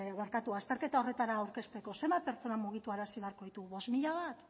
azterketa horretara aurkezteko zenbat pertsona mugiarazi behar ditugu bost mila bat